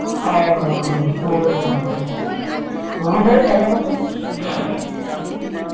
ଅ ହ ହ ହଁ ହଁ ହଁ ହଁ ଭାଇ ଭଲ କଥା